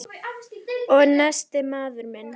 Og nestið, maður minn!